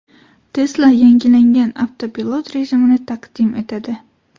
Tesla yangilangan avtopilot rejimini taqdim etadi.